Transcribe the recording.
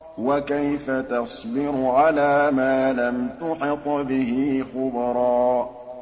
وَكَيْفَ تَصْبِرُ عَلَىٰ مَا لَمْ تُحِطْ بِهِ خُبْرًا